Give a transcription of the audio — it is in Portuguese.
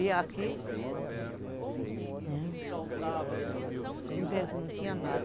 E aqui... Tu vê que não tinha nada.